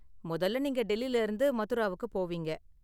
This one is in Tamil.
முதல்ல நீங்க டெல்லில இருந்து மதுராவுக்கு போவீங்க.